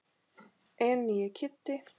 En nýi Kiddi.